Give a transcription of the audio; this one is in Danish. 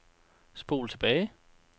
spol tilbage